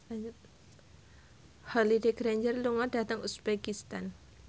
Holliday Grainger lunga dhateng uzbekistan